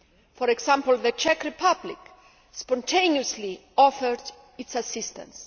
For example, the Czech Republic spontaneously offered its assistance.